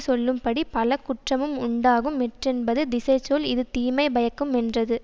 சொல்லும்படி பல குற்றமும் உண்டாகும் எற்றென்பது திசை சொல் இது தீமைபயக்கு மென்றது